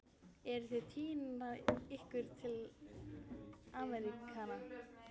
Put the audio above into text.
Eruð þið að týna ykkur í Ameríkana?